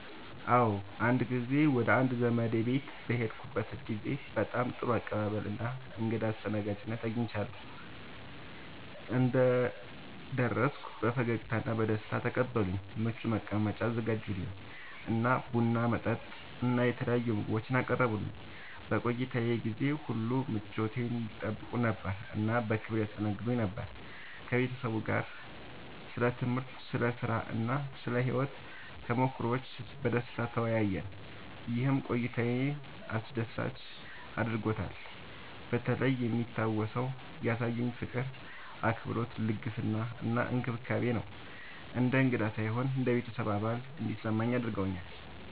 አዎ፣ አንድ ጊዜ ወደ አንድ ዘመዴ ቤት በሄድኩበት ጊዜ በጣም ጥሩ አቀባበል እና እንግዳ አስተናጋጅነት አግኝቻለሁ። እንደደረስኩ በፈገግታ እና በደስታ ተቀበሉኝ፣ ምቹ መቀመጫ አዘጋጁልኝ እና ቡና፣ መጠጥ እና የተለያዩ ምግቦችን አቀረቡልኝ። በቆይታዬ ጊዜ ሁሉ ምቾቴን ይጠይቁ ነበር እና በክብር ያስተናግዱኝ ነበር። ከቤተሰቡ ጋር ስለ ትምህርት፣ ስለ ሥራ እና ስለ ሕይወት ተሞክሮዎች በደስታ ተወያየን፣ ይህም ቆይታዬን አስደሳች አድርጎታልበተለይ የሚታወሰው ያሳዩኝ ፍቅር፣ አክብሮት፣ ልግስና እና እንክብካቤ ነው። እንደ እንግዳ ሳይሆን እንደ ቤተሰብ አባል እንዲሰማኝ አድርገውኛል።